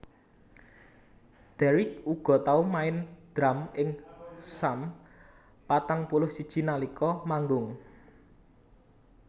Deryck uga tau main drum ing Sum patang puluh siji nalika manggung